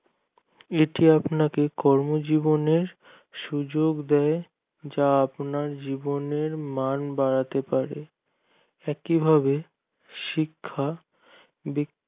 এটি আপনাকে কর্ম জীবনে সুযোক দেয় যা আপনার জীবনে মান বাড়াতে পারে একইভাবে শিক্ষা ব্যাক্তি